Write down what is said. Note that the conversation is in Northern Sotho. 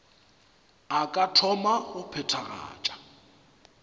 a ka thoma go phethagatša